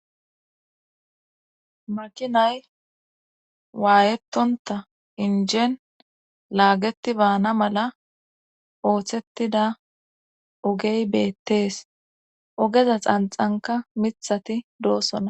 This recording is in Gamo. makinay waayettonta injeen laageti baana mala ooththettida ogey beettees ogeza xanxanka mithati doosona